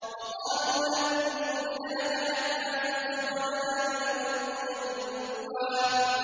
وَقَالُوا لَن نُّؤْمِنَ لَكَ حَتَّىٰ تَفْجُرَ لَنَا مِنَ الْأَرْضِ يَنبُوعًا